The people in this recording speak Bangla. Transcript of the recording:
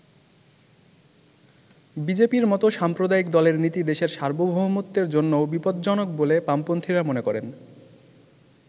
বিজেপির মতো সাম্প্রদায়িক দলের নীতি দেশের সার্বভৌমত্বের জন্যও বিপজ্জনক বলে বামপন্থীরা মনে করেন।